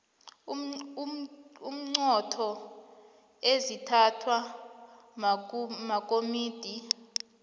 iinqunto ezithathwa makomidi